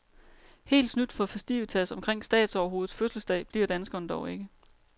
Helt snydt for festivitas omkring statsoverhovedets fødselsdag bliver danskerne dog ikke.